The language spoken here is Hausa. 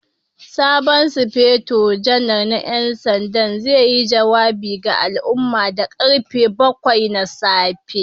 Sabon Sufeto Janar na 'yan sanda zai yi jawabi ga al'umma da karfe bakwai na safe.